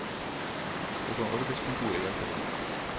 Det kan arbeidskontoret hjelpe deg med.